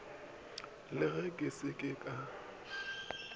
le ge ke se ka